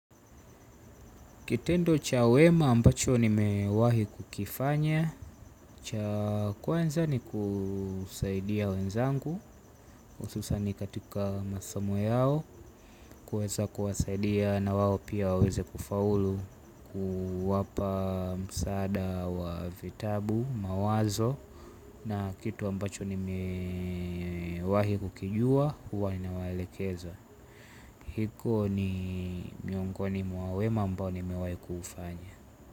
Kitendo cha wema ambacho nimewahi kukifanya cha kwanza ni kusaidia wenzangu hususani katika masomo yao. Kuweza kuwasaidia na wao pia waweze kufaulu. Kuwapa msaada wa vitabu mawazo. Na kitu ambacho nimewahi kukijua huko ni miongoni mwa wema ambao nimewahi kufanya.